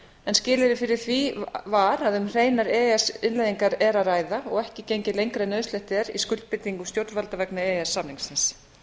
en skilyrði fyrir því var að um hreinar e e s innleiðingar er að ræða og ekki gengið lengra en nauðsynlegt er í skuldbindingum stjórnvalda vegna e e s samningsins